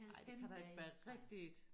Ej det kan da ikke være rigtigt